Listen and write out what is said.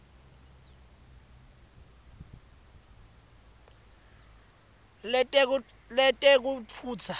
letekutfutsa